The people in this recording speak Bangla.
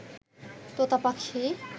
তোতা পাখি